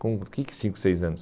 Com o que que cinco, seis anos?